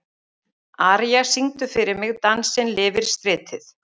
Aría, syngdu fyrir mig „Dansinn lifir stritið“.